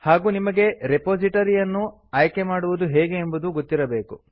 ಹಾಗೂ ನಿಮಗೆ ರೆಪೊಸಿಟೋರಿಯನ್ನು ಆಯ್ಕೆ ಮಾಡುವುದು ಹೇಗೆ ಎಂಬುದೂ ಗೊತ್ತಿರಬೇಕು